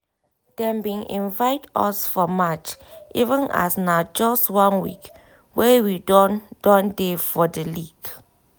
dem bin invite us for match even as na just one week wey we don don dey for di league